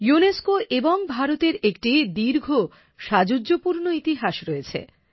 UNESCO এবং ভারতের একটি দীর্ঘ সাদুর্যপূর্ণ ইতিহাস রয়েছে